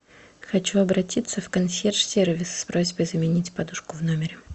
хочу обратиться в консьерж сервис с просьбой заменить подушку в номере